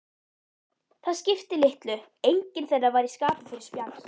Það skipti litlu, enginn þeirra var í skapi fyrir spjall.